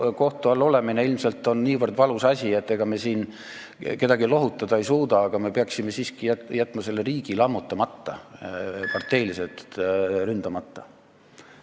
Kohtu all olemine on ilmselt nii valus asi, et ega me siin kedagi lohutada ei suuda, aga me peaksime siiski jätma selle riigi lammutamata, peaksime jätma parteiliselt ründamata.